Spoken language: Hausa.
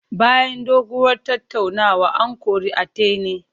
Bayan doguwar tattaunawa, an kori Atine.